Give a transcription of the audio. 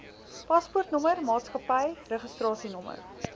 paspoortnommer maatskappy registrasienommer